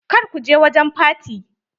Kar ku je wajen faty!